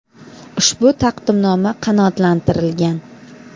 Ushbu taqdimnoma qanoatlantirilgan.